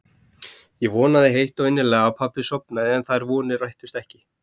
Ég vonaði heitt og innilega að pabbi sofnaði en þær vonir rættust ekki.